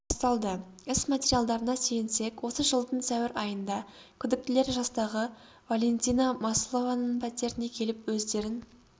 басталды іс материалдарына сүйенсек осы жылдың сәуір айында күдіктілер жастағы валентина маслованың пәтеріне келіп өздерін